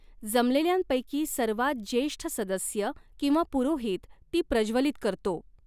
जमलेल्यांपैकी सर्वांत ज्येष्ठ सदस्य किंवा पुरोहित ती प्रज्वलित करतो.